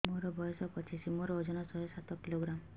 ମୋର ବୟସ ପଚିଶି ମୋର ଓଜନ ଶହେ ସାତ କିଲୋଗ୍ରାମ